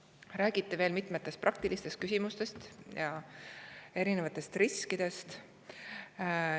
Räägiti veel mitmetest praktilistest küsimustest ja erinevatest riskidest.